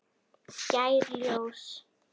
Skær ljós.